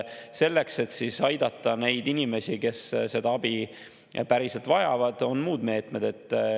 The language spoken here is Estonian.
Selleks, et aidata neid inimesi, kes seda abi päriselt vajavad, on muud meetmed.